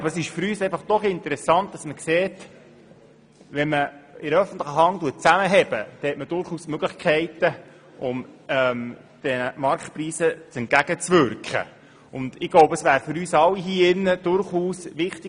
Aber es ist für uns doch interessant zu sehen, dass man den Marktpreisen entgegenwirken kann, wenn die öffentliche Hand zusammenhält.